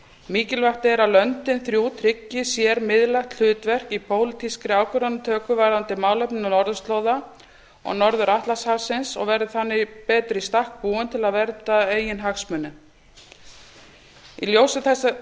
mikilvægt er að löndin þrjú tryggi sér miðlægt hlutverk í pólitískri ákvarðanatöku varðandi málefni norðurslóða og norður atlantshafsins og verði þannig betur í stakk búin til að vernda eigin hagsmuni í ljósi